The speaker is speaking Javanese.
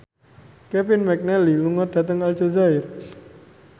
Kevin McNally lunga dhateng Aljazair